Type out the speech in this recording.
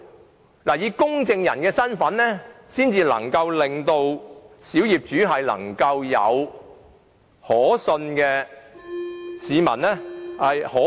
政府必須以公證人的身份介入，才能讓小業主感覺獲得可信機構的協助。